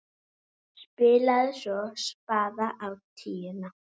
Spilaði svo spaða á tíuna!